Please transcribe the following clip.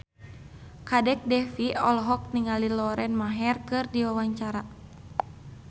Kadek Devi olohok ningali Lauren Maher keur diwawancara